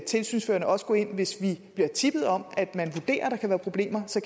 tilsynsførende også gå ind tilsyn hvis vi bliver tippet om at man vurderer at der kan være problemer så